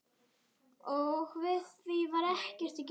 Og við því var ekkert að gera.